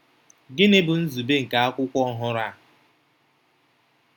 Gịnị bụ nzube nke akwụkwọ ọhụrụ a?